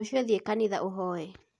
Rũcio thiĩ kanitha ũhoye